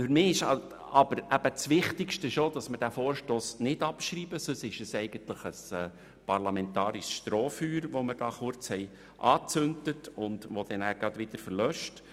Für mich ist es das Wichtigste, dass wir die Motion nicht abschreiben, sonst bleibt sie lediglich ein parlamentarisches Strohfeuer, das wir kurz entzündet haben und das gleich wieder erlischt.